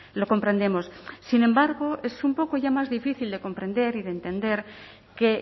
lo comprendemos sin embargo es un poco ya más difícil de comprender y de entender que